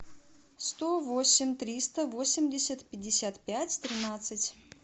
сто восемь триста восемьдесят пятьдесят пять тринадцать